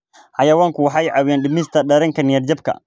Xayawaanku waxay caawiyaan dhimista dareenka niyad jabka.